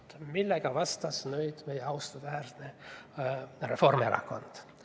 Aga millega vastas nüüd meie austusväärne Reformierakond?